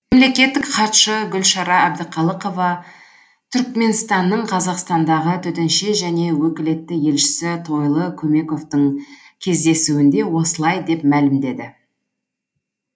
мемлекеттік хатшы гүлшара әбдіқалықова түрікменстанның қазақстандағы төтенше және өкілетті елшісі тойлы көмековтің кездесуінде осылай деп мәлімдеді